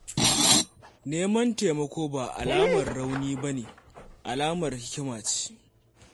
Neman taimako ba alamar rauni ba ne, alamar hikima ce.